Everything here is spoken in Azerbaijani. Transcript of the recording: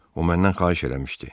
O məndən xahiş eləmişdi.